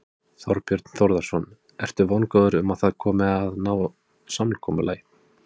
Þorbjörn Þórðarson: Ertu vongóður um það að að ná samkomulagi?